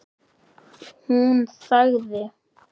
Hún þagði.